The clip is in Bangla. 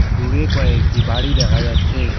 দূরে কয়েকটি বাড়ি দেখা যাচ্ছে।